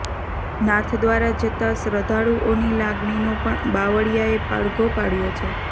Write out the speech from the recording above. નાથદ્વારા જતા શ્રધ્ધાળુઓની લાગણીનો પણ બાવળીયાએ પડઘો પાડયો છે